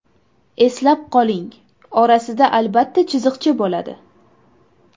Eslab qoling, orasida albatta chiziqcha bo‘ladi.